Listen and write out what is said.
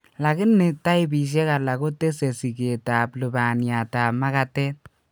Lakini taipisiek alak kotese sikeet ab lubaniat ab makatet